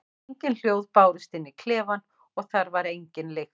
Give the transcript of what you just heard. Engin hljóð bárust inn í klefann og þar var engin lykt.